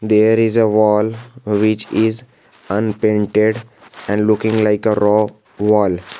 there is a wall which is unpainted and looking like a rock wall.